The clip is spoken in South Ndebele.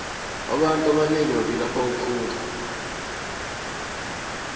abantu abanengi bavilapha ukufunda